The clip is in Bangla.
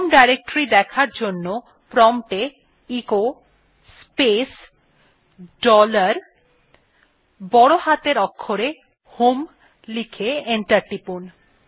হোম ডিরেক্টরি দেখার জন্য প্রম্পট এ এচো স্পেস ডলার বড় হাতের অক্ষরে হোম লিখে এন্টার টিপুন